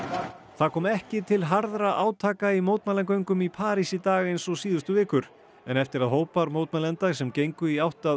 það kom ekki til harðra átaka í mótmælagöngum í París í dag eins og síðustu vikur en eftir að hópar mótmælenda sem gengu í átt að